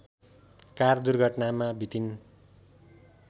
car दुर्घटनामा बितिन्